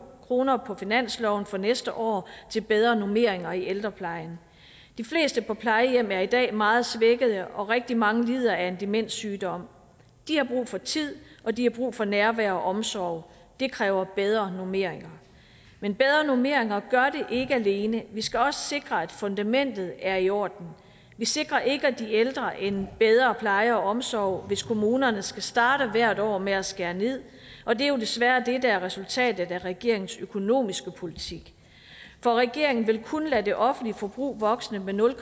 kroner på finansloven for næste år til bedre normeringer i ældreplejen de fleste på plejehjem er i dag meget svækkede og rigtig mange lider af en demenssygdom de har brug for tid og de har brug for nærvær og omsorg det kræver bedre normeringer men bedre normeringer gør det ikke alene vi skal også sikre at fundamentet er i orden vi sikrer ikke de ældre en bedre pleje og omsorg hvis kommunerne skal starte hvert år med at skære ned og det er jo desværre det der er resultatet af regeringens økonomiske politik for regeringen vil kun lade det offentlige forbrug vokse med nul